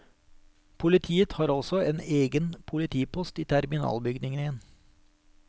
Politiet har også en egen politipost i terminalbygningen.